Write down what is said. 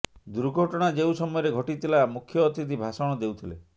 ଦୁର୍ଘଟଣା ଯେଉଁ ସମୟରେ ଘଟିଥିଲା ମୁଖ୍ୟ ଅତିଥି ଭାଷଣ ଦେଉଥିଲେ